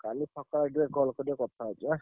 କାଲି ସକାଳେ ଟିକେ call କରିବ କଥା ଅଛି ଏଁ।